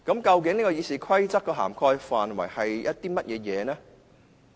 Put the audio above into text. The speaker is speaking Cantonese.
究竟《議事規則》的涵蓋範圍包括些甚麼？